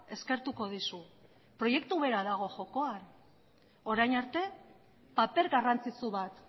eskertuko dizu proiektu bera dago jokoan orain arte paper garrantzitsu bat